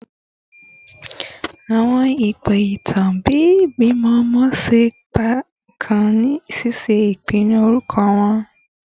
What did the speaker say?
Awọn ipo itan ti ibimọ ọmọ ṣe ipa kan ni ṣiṣe ipinnu orukọ wọn